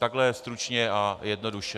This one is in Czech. Takhle stručně a jednoduše.